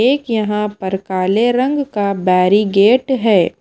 एक यहां पर काले रंग का बैरीगेट है।